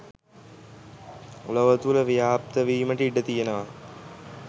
ලොව තුළ ව්‍යාප්තවීමට ඉඩ තියෙනවා